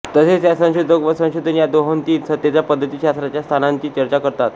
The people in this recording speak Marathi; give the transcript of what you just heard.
तसेच त्या संशोधक व संशोधन या दोहोंतील सत्तेच्या पद्धती शास्त्राच्या स्थानांची चर्चा करतात